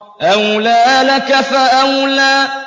أَوْلَىٰ لَكَ فَأَوْلَىٰ